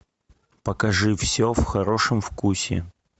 покажи все в хорошем вкусе